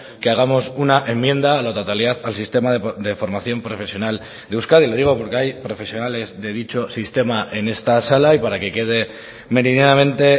que hagamos una enmienda a la totalidad al sistema de formación profesional de euskadi le digo porque hay profesionales de dicho sistema en esta sala y para que quede meridianamente